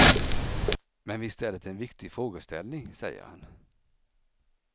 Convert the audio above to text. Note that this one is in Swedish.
Men visst är det en viktig frågeställning, säger han.